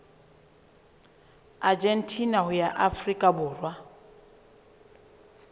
argentina ho ya afrika borwa